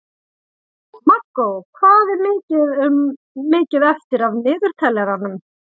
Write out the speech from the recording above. Markó, hvað er mikið eftir af niðurteljaranum?